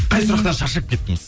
қай сұрақтан шаршап кеттіңіз